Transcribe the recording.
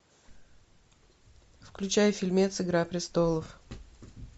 включай фильмец игра престолов